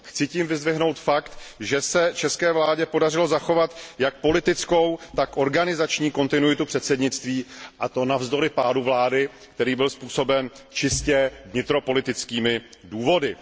Chci tím vyzdvihnout fakt, že se české vládě podařilo zachovat jak politickou, tak organizační kontinuitu předsednictví, a to navzdory pádu vlády, který byl způsoben čistě vnitropolitickými důvody.